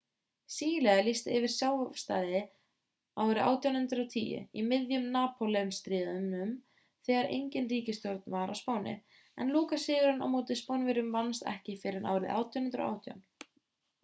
síle lýsti yfir sjálfstæði árið 1810 í miðjum napóleónsstríðunum þegar engin ríkisstjórn var á spáni en lokasigurinn á móti spánverjunum vannst ekki fyrr en árið 1818